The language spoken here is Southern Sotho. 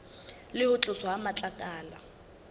le ho tloswa ha matlakala